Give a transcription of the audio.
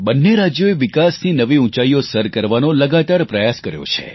બંને રાજ્યોએ વિકાસની નવી ઊંચાઈઓ સર કરવાનો લગાતાર પ્રયાસ કર્યો છે